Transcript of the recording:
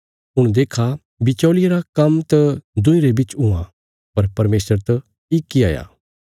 हुण देक्खा बिचौल़िये रा काम्म त दुईं रे बिच हुआं पर परमेशर त इक इ हाया